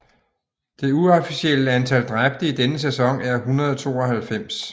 Det uofficielle antal dræbte i denne sæson er 192